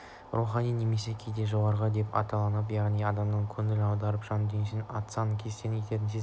рухани немесе кейде жоғарғы деп те аталынатын яғни адамның көңілін аударып жан дүниесін астан-кестен ететін сезім